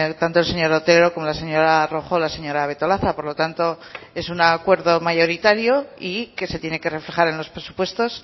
tanto el señor otero como la señora rojo o la señora betolaza por lo tanto es un acuerdo mayoritario y que se tiene que reflejar en los presupuestos